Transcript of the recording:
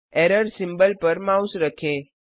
error symbol पर mouse रखें